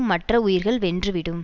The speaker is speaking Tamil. மற்ற உயிர்கள் வென்றுவிடும்